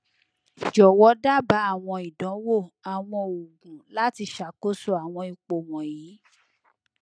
jọwọ daba awọn idanwo awọn oogun lati ṣakoso awọn ipo wọnyi